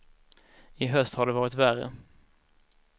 I höst har det varit värre.